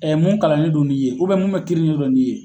mun kalanlen do n'i ye mun bɛ kiiri ɲɛdɔn n'i ye.